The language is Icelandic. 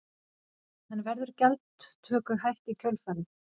En verður gjaldtöku hætt í kjölfarið?